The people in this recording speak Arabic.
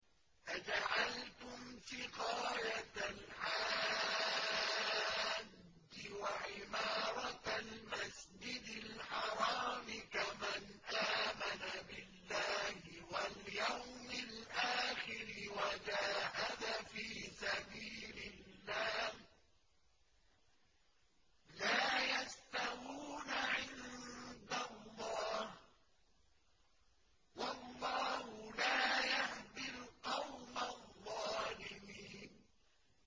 ۞ أَجَعَلْتُمْ سِقَايَةَ الْحَاجِّ وَعِمَارَةَ الْمَسْجِدِ الْحَرَامِ كَمَنْ آمَنَ بِاللَّهِ وَالْيَوْمِ الْآخِرِ وَجَاهَدَ فِي سَبِيلِ اللَّهِ ۚ لَا يَسْتَوُونَ عِندَ اللَّهِ ۗ وَاللَّهُ لَا يَهْدِي الْقَوْمَ الظَّالِمِينَ